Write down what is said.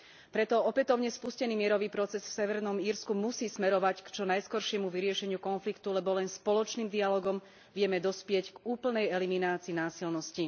Preto opätovne spustený mierový proces v Severnom Írsku musí smerovať k čo najskoršiemu vyriešeniu konfliktu, lebo len spoločným dialógom vieme dospieť k úplnej eliminácii násilností.